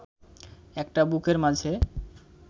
একটা বুকের মাঝে